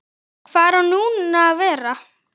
Hvar á nú að vera?